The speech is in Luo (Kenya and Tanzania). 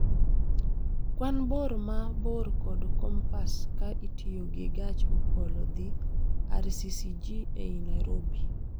Kwan bor ma bor kod kompas ka itiyo gi gach okolo dhi rccg e Nairobi